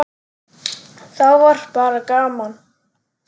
Þá var bara gaman.